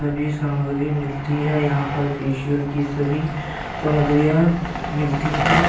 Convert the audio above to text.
सभी सामग्री मिलती है। यहाँ पर फेशियल की सभी सामग्रीया मिलती हैं।